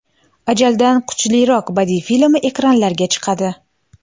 Ajaldan kuchliroq” badiiy filmi ekranlarga chiqadi.